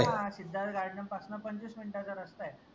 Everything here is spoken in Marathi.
हां सिद्धार्थ garden पासन पंचवीस minute चा रस्ता ए